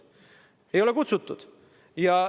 Mind ei ole kutsutud!